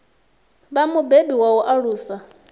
vha mubebi wa u alusa